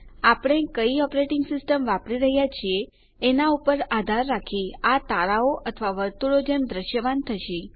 આપણે કઈ operating system વાપરી રહ્યા છીએ એનાં પર આધાર રાખી આ તારાઓ અથવા વર્તુળો જેમ દ્રશ્યમાન થશે